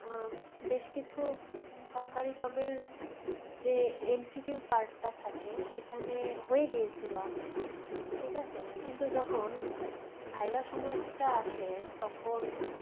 উম বেশ কিছু সরকারি job এর যে MCQ part টা থাকে সেখানে হয়ে গিয়েছিল আমার ঠিকাছে কিন্তু যখন viva সময় টা আসে তখন